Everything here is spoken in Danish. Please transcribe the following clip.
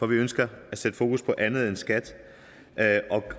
ønsker at sætte fokus på andet end skat og at